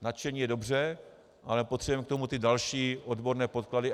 Nadšení je dobře, ale potřebujeme k tomu i další odborné podklady.